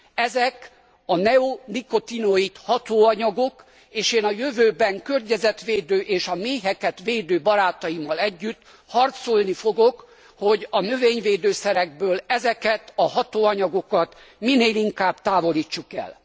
Ezek a neonikotinoid hatóanyagok, és én a jövőben környezetvédő és a méheket védő barátaimmal együtt harcolni fogok, hogy a növényvédőszerekből ezeket a hatóanyagokat minél inkább távolítsuk el.